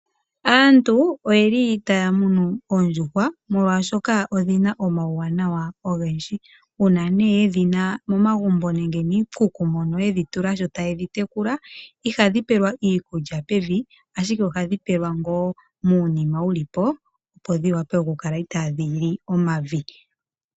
Aantu otaya munu oondjuhwa oshoka oondjuhwa odhina omauwanawa ogendji. Uuna yedhi na momagumbo nenge miikuku mono yedhi tula sho tadhi tekulwa ihadhi pelwa iikulya pevi, ihe ohadhi pelwa muunima opo dhi kale itaadhi li omavi.